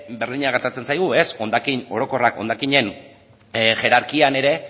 berdina gertatzen zaigu hondakin orokorrak hondakinen hierarkian ere